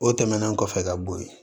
O tɛmɛnen kɔfɛ ka bo ye